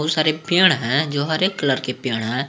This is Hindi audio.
सारे पेड़ हैं जो हरे कलर के पेड़ हैं।